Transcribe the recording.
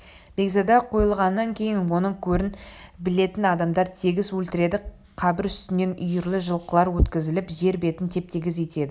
бекзада қойылғаннан кейін оның көрін білетін адамдар тегіс өлтіріледі қабір үстінен үйірлі жылқылар өткізіліп жер бетін теп-тегіс етеді